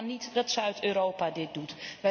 Het kan niet dat Zuid Europa dit doet.